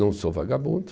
Não sou vagabundo.